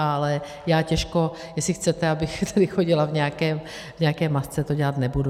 Ale já těžko - jestli chcete, abych tedy chodila v nějaké masce, to dělat nebudu.